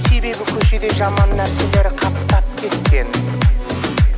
себебі көшеде жаман нәрселер қаптап кеткен